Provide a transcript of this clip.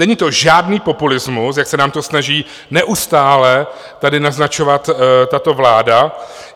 Není to žádný populismus, jak se nám to snaží neustále tady naznačovat tato vláda.